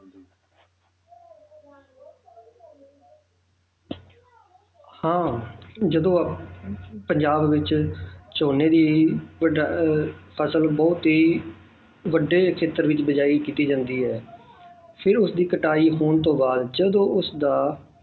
ਹਾਂ ਜਦੋਂ ਆਹ ਪੰਜਾਬ ਵਿੱਚ ਝੋਨੇ ਦੀ ਵਡਾ~ ਅਹ ਫ਼ਸਲ ਬਹੁਤ ਹੀ ਵੱਡੀ ਖ਼ੇਤਰ ਦੀ ਬੀਜਾਈ ਕੀਤੀ ਜਾਂਦੀ ਹੈ ਫਿਰ ਉਸਦੀ ਕਟਾਈ ਹੋਣ ਤੋਂ ਬਾਅਦ ਜਦੋਂ ਉਸਦਾ